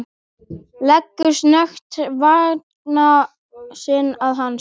Leggur snöggt vanga sinn að hans.